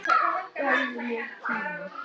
Gefðu mér tíma.